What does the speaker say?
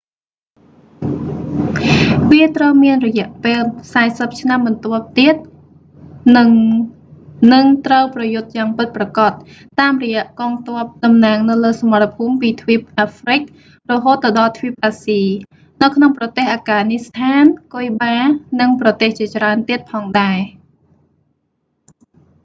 វាត្រូវមានរយៈពេល 40 ឆ្នាំបន្ទាប់ទៀត និងនឹងត្រូវប្រយុទ្ធយ៉ាងពិតប្រាកដ តាមរយៈកងទ័ពតំណាងនៅលើសមរភូមិពីទ្វីបអាហ្រ្វិក រហូតទៅដល់ទ្វីបអាស៊ី នៅក្នុងប្រទេសអាហ្គានីស្ថាន គុយបា និងប្រទេសជាច្រើនទៀតផងដែរ